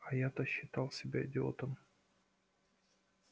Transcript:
а я-то считал себя идиотом